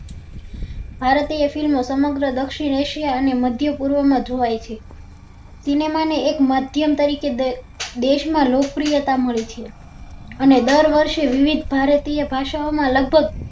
ભારતીય film સમગ્ર દક્ષીણ acia અને મધ્ય પૂર્વ માં જોવાય છે cinema ને એક માધ્યમ તરીકે દેશ માં લોકપ્રિયતા મળી છે અને દર વર્ષે વિવિધ ભારતીય ભાષણો માં લગભગ